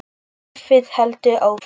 Lífið heldur áfram.